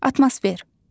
Atmosfer.